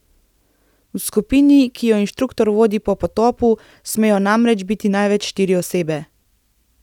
V skupini, ki jo inštruktor vodi pri potopu, smejo namreč biti največ štiri osebe.